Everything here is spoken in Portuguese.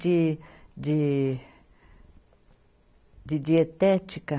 de, de, de dietética